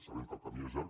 sabem que el camí és llarg